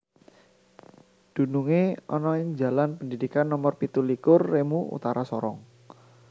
dununge ana ing Jalan Pendidikan Nomer pitu likur Remu Utara Sorong